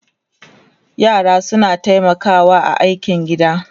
yara suna taimakawa a aikin gida